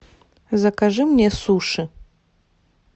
закажи мне суши